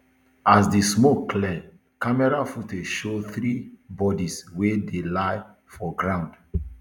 as di smoke clear camera footage show three bodies wey dey lie for ground